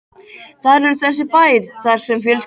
Þar er þessi bær þar sem fjölskyldan mín býr.